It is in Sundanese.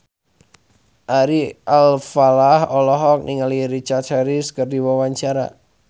Ari Alfalah olohok ningali Richard Harris keur diwawancara